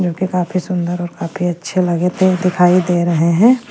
जो कि काफी सुंदर और काफी अच्छे लगे थे दिखाई दे रहे हैं।